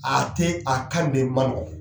A tɛ a kan de man